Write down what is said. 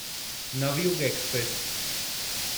Navyug express